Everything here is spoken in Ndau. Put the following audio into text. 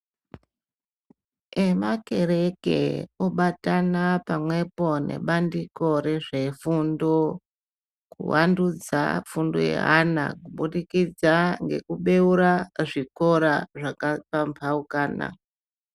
Nemakereke obatana pamwepo nebandiko rezvefundo kuwandudza fundo yeana kubudikidza ngekubeura zvikora zvakapambaukana.